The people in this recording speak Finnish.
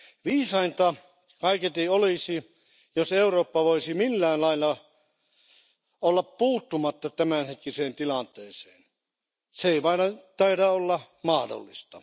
Viisainta kaiketi olisi, jos Eurooppa voisi millään lailla olla puuttumatta tämänhetkiseen tilanteeseen. Se ei vain taida olla mahdollista.